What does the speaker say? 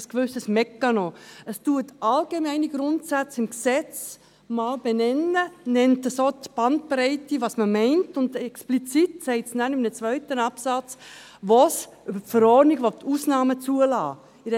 Es benennt einmal allgemeine Grundsätze im Gesetz, nennt so die Bandbreite dessen, was man meint, und in einem zweiten Absatz sagt es explizit, wo es über die Verordnung Ausnahmen zulassen will.